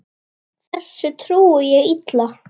Þessu trúi ég illa.